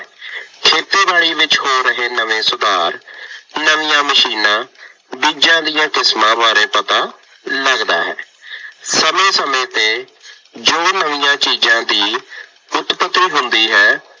ਖੇਤੀਬਾੜੀ ਵਿੱਚ ਹੋ ਰਹੇ ਨਵੇਂ ਸੁਧਾਰ, ਨਵੀਆਂ ਮਸ਼ੀਨਾਂ, ਬੀਜ਼ਾਂ ਦੀਆਂ ਕਿਸਮਾਂ ਬਾਰੇ ਪਤਾ ਲੱਗਦਾ ਹੈ। ਸਮੇਂ ਸਮੇਂ ਤੇ ਜੋ ਨਵੀਆਂ ਚੀਜ਼ਾਂ ਦੀ ਉਤਪਤੀ ਹੁੰਦੀ ਹੈ।